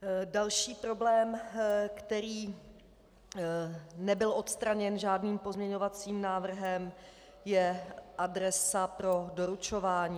Další problém, který nebyl odstraněn žádným pozměňovacím návrhem, je adresa pro doručování.